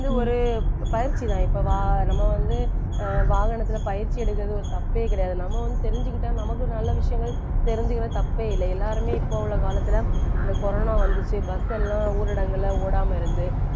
வந்து ஒரு பயிற்சிதான் இப்ப வ~ நம்ம வந்து அஹ் வாகனத்தில பயிற்சி எடுக்கிறது ஒரு தப்பே கிடையாது. நம்ம வந்து தெரிஞ்சுக்கிட்டா நமக்கு ஒரு நல்ல விஷயங்கள் தெரிஞ்சுக்கிறது தப்பே இல்லை. எல்லாருமே இப்போ உள்ள காலத்துல இந்த கொரோனா வந்துச்சு பஸ் எல்லாம் ஊரடங்குல ஓடாம இருந்து